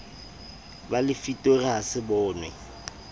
ba lefitori ha se bonwe